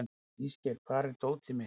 Ísgeir, hvar er dótið mitt?